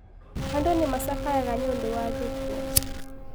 Andũ nĩmacakayaga nĩũndũ wa gĩkuo.